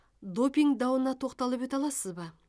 допинг дауына тоқталып өте аласыз ба